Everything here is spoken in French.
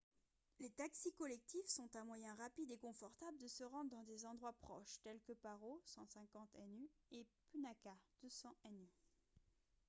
les taxis collectifs sont un moyen rapide et confortable de se rendre dans des endroits proches tels que paro 150 nu et punakha 200 nu